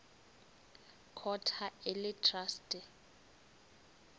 court ha e le traste